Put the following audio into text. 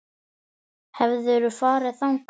Hefurðu farið þangað?